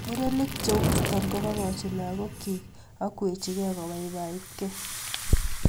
Murenik cheuchuto kobokochi lagokchi ak kwechikei kobaibaitkei